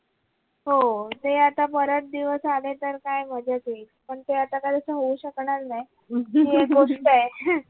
हो ते आता परत दिवस आले तर काय मजा येईल पण ते आता काही अस होऊ शकणार नाही हि एक गोष्ट आहे